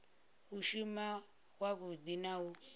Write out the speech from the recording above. u shuma wavhudi na u